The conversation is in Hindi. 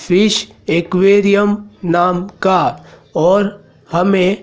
फिश एक्वेरियम नाम का और हमें--